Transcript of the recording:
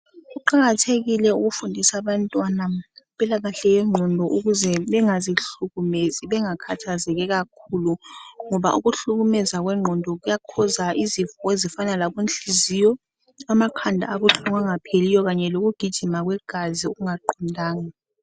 Kuqakathekile ukufundisa abantwana ngempilakahle yengqondo ukuze bengazihlukumezi bengakhathazeki kakhulu ngoba ukuhlumeza kwengqondo kuyabangela izifo ezifana labo nhliziyo, amakhanda abahlungu angapheliyo kanye lokugijima kwegazi okungaqondanga